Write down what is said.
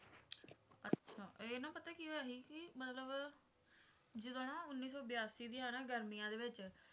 ਅੱਛਾ ਇਹ ਨਾ ਪਤਾ ਕੀ ਹੋਇਆ ਸੀ ਮਤਲਬ ਜਦੋਂ ਨਾ ਉੱਨੀ ਸੌ ਬਿਆਸੀ ਦੀਆਂ ਨਾ ਗਰਮੀਆਂ ਦੇ ਵਿਚ